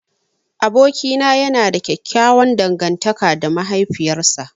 Abokina yana da ƙyaƙƙyawan dangantaka da mahaifiyar sa.